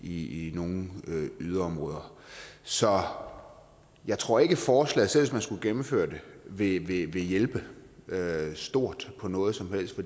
i nogle yderområder så jeg tror ikke at forslaget selv hvis man skulle gennemføre det vil hjælpe hjælpe stort på noget som helst